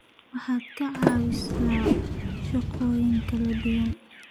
waxaad ka caawisaa shaqooyin kala duwan.